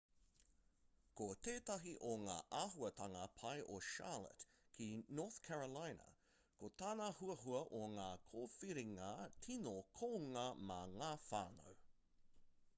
ko tētahi o ngā āhuatanga pai o charlotte ki north carolina ko tana huhua o ngā kōwhiringa tino kounga mā ngā whānau